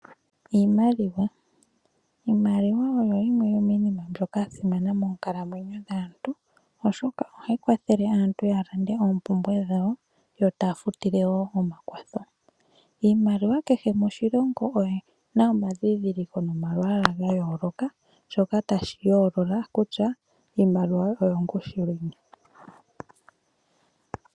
Iimaliwa Iimaliwa oyo yimwe yomiinima mbyoka ya simana moonkalamwenyo dhaantu, oshoka ohayi kwathele aantu ya lande oompumbwe dhawo yo taya futile wo omakwatho. Iimaliwa kehe moshilongo oyi na omadhindhiliko nomalwaala ga yooloka, shoka tashi yoolola kutya iimaliwa oyo ongushu yini.